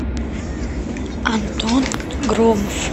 антон громов